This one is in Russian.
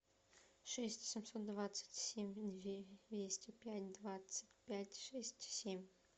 шесть семьсот двадцать семь двести пять двадцать пять шесть семь